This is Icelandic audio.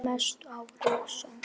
Mest á rósum.